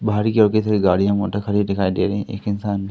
बाहरी गाड़ियां मोटर खड़ी दिखाई दे रही है एक इंसान--